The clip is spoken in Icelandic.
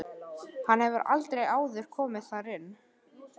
Hann hefur aldrei áður komið þar inn.